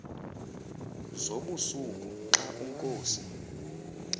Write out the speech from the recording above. zobusuku xa unkosi